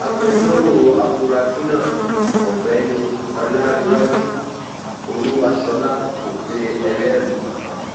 agbẹjọrò àfúráṣí náà ọgbẹni ọlárẹwájú olúwaṣọlá kò pe ẹlẹrìí kankan